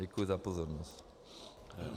Děkuji za pozornost.